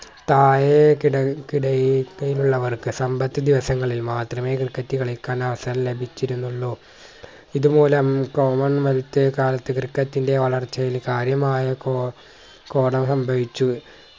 താഴെ കിട കിട യിക്കയിലുള്ളവർക്ക് സമ്പത്ത് ദിവസങ്ങളിൽ മാത്രമേ ക്രിക്കറ്റ് കളിക്കാൻ അവസരം ലഭിച്ചിരുന്നുള്ളു ഇതുപോലെ ഏർ common wealth കാലത്തു ക്രിക്കറ്റ്ന്റെ വളർച്ചയിൽ കാര്യമായ കോ കോടം സംഭവിച്ചു